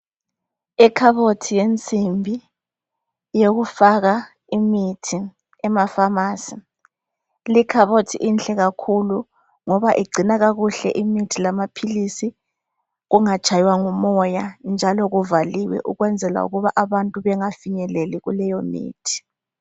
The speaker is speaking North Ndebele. Ikhabothi yensimbi yokufaka imithi emaphamarcy likhabothi inhle kakhulu ngoba igcina kakuhle imithi lamaphilisi kungatshaywa mgumoya njalo kuvaliwe ukwenzela ukuba abantu bengafinyeleli kuleyo mithi.